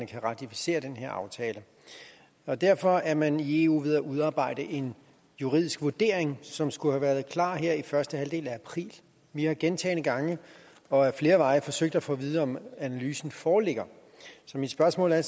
kan ratificere den her aftale og derfor er man i eu ved at udarbejde en juridisk vurdering som skulle have været klar her i første halvdel af april vi har gentagne gange og ad flere veje forsøgt at få at vide om analysen foreligger så mit spørgsmål er